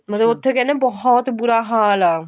ਮਤਲਬ ਉੱਥੇ ਕਹਿੰਦੇ ਬਹੁਤ ਬੁਰਾ ਹਾਲ ਆ